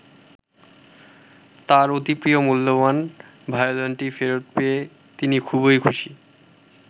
তাঁর অতি প্রিয় মূল্যবান ভায়োলিনটি ফেরত পেয়ে তিনি খুবই খুশি।